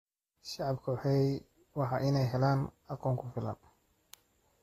Shacabku waa in ay helaan aqoon ku filan.